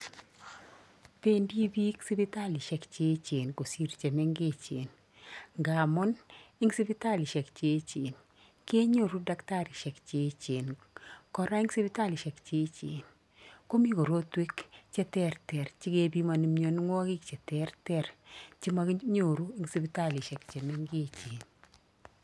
Pendi piik sipitalishek cheechen kosir chemengechen ngamun eng sipitalishek cheechen kenyoru dakitarisiek cheechen, kora eng sipitalisiek cheechen komi korotwek che terter che kepimoni mionwogik cheterter che mokinyoru eng sipitalishek chemengechen.